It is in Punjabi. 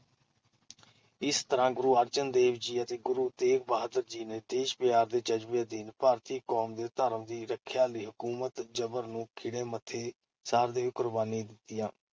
ਇਸ ਤਰ੍ਹਾਂ ਗੁਰੂ ਅਰਜਨ ਦੇਵ ਜੀ ਅਤੇ ਗੁਰੂ ਤੇਗ਼ ਬਹਾਦਰ ਜੀ ਨੇ ਦੇਸ਼-ਪਿਆਰ ਦੇ ਜਜ਼ਬੇ ਅਧੀਨ ਭਾਰਤੀ ਕੌਮ ਤੇ ਧਰਮ ਦੀ ਰੱਖਿਆ ਲਈ ਹਕੂਮਤ ਜਬਰ ਨੂੰ ਖਿੜੇ ਮੱਥੇ ਸਹਾਰਦੇ ਹੋਏ ਕੁਰਬਾਨੀਆਂ ਦਿੱਤੀਆਂ!